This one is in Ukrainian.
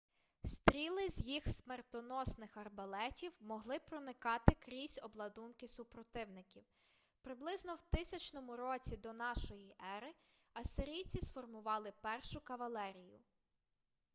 стріли з їх смертоносних арбалетів могли проникати крізь обладунки супротивників приблизно в 1000 році до нашої ери ассирійці сформували першу кавалерію